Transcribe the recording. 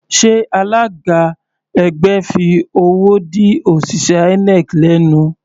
Sé alága ẹgbẹ́ fi owó dí òṣìṣẹ́ INEC lẹ́nu?